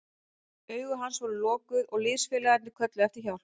Augu hans voru lokuð og liðsfélagarnir kölluðu eftir hjálp.